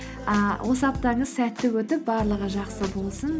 ыыы осы аптаңыз сәтті өтіп барлығы жақсы болсын